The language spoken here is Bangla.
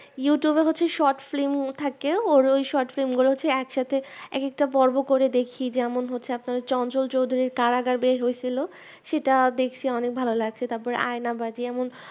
youtube হচ্ছে short film থাকেও আর ওর short film গুলোকে একসাথে এক একটা পর্ব করে দেখি যেমন হচ্ছে আপনার চঞ্চল চৌধুরীর কারাগার বের হয়েছিল সেটা দেখসি অনেক ভালো লাগছে তারপরে আয়না বাজি